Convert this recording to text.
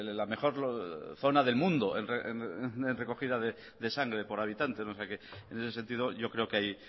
la mejor zona del mundo en recogida de sangre por habitante en ese sentido yo creo que